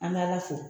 An bɛ ala fo